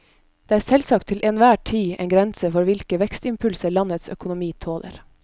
Det er selvsagt til enhver tid en grense for hvilke vekstimpulser landets økonomi tåler.